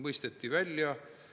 Nii see trill ja trall jätkub lõputult.